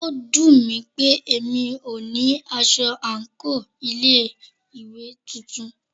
Ó dùnmí pé mí o ní aṣọ àńkò ilé ìwé titun.